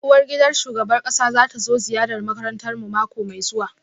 Uwargidan shugaban kasa za ta zo ziyarar makarantarmu mako mai zuwa